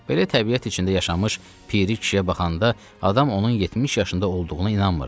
Belə təbiət içində yaşamış piri kişiyə baxanda adam onun 70 yaşında olduğuna inanmırdı.